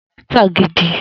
Egbon mi tagidi